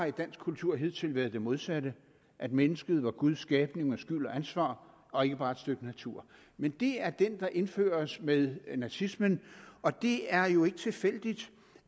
i dansk kultur hidtil været det modsatte at mennesket var guds skabning med skyld og ansvar og ikke bare et stykke natur men det er den der indføres med nazismen og det er jo ikke tilfældigt